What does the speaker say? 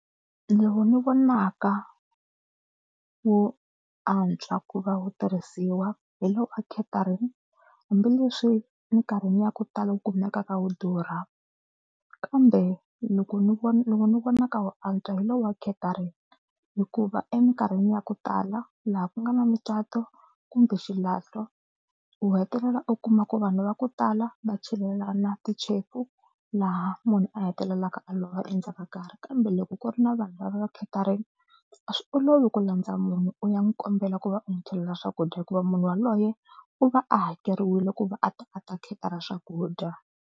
Lowu ni vonaka wu antswa ku va wu tirhisiwa hi lowu wa catering hambileswi mikarhini ya ku tala wu kumekaka wu durha kambe loko ni vona lowu ni vonaka wu antswa hi lowa catering hikuva emikarhini ya ku tala laha ku nga na mucato kumbe xilahlo u hetelela u kuma ku vanhu va ku tala va chelela na tichefu laha munhu a hetelelaka a lova endzhaku ka karhi kambe loko ku ri na vanhu lava catering a swi olovi ku landza munhu u ya n'wi kombela ku va u n'wi chelela swakudya hikuva munhu yaloye u va a hakeriwile ku va a ta a ta cater-a swakudya.